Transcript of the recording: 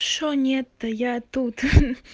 что нет то я тут